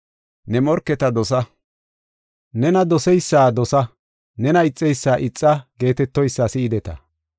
“ ‘Nena doseysa dosa; nena ixeysa ixa’ geetetoysa si7ideta.